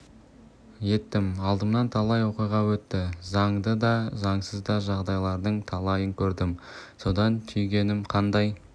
еттім алдымнан талай оқиға өтті заңды да заңсыз да жағдайлардың талайын көрдім содан түйгенім қандай